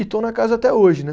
E estou na casa até hoje, né?